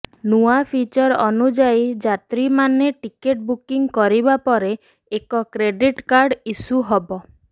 ନୂଆ ଫିଚର ଅନୁଯାୟୀ ଯାତ୍ରୀମାନେ ଟିକେଟ ବୁକିଂ କରିବା ପରେ ଏକ କ୍ରେଡିଟ୍ କାର୍ଡ଼ ଇଶ୍ୟୁ ହେବ